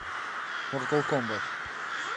мортал комбат